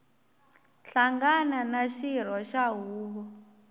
hlangana na xirho xa huvo